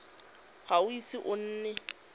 ga o ise o nne